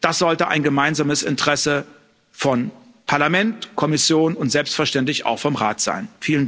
Das sollte ein gemeinsames Interesse von Parlament, Kommission und selbstverständlich auch vom Rat sein.